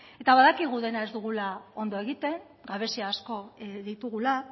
eta badakigu dena ez dugula ondo egiten gabezia asko ditugula